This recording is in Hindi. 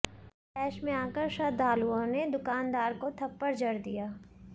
तैश में आकर श्रद्धालुओं ने दुकानदार को थप्पड़ जड़ दिया